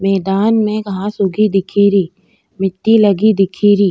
मैदान में घांस उगी दिखेरी मिटटी लगी दिखेरी।